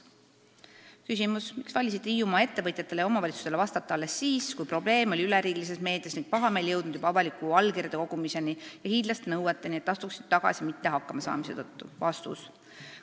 Viies küsimus: "Miks valisite Hiiumaa ettevõtjatele ja omavalitsustele vastata alles siis, kui probleem oli üleriigilises meedias ning pahameel jõudnud juba avaliku allkirjade kogumiseni ja hiidlaste nõudeni, et astuksite tagasi mitte hakkamasaamise tõttu?